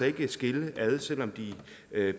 ikke skille ad selv om de